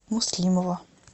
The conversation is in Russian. муслимова